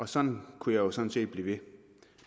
sådan kunne jeg sådan set blive ved